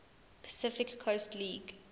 pacific coast league